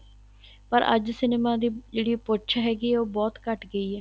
ਪਰ ਅੱਜ cinema ਦੀ ਜਿਹੜੀ ਪੁੱਛ ਹੈਗੀ ਏ ਉਹ ਬਹੁਤ ਘੱਟ ਗਈ ਏ